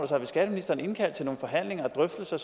sig vil skatteministeren indkalde til nogle forhandlinger og drøftelser